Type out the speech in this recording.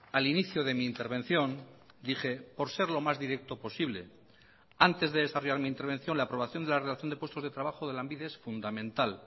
al inicio de mi intervención dije por ser lo más directo posible antes de desarrollar mi intervención la aprobación de la relación de puestos de trabajo de lanbide es fundamental